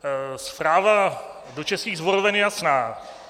Zpráva do českých sboroven je jasná.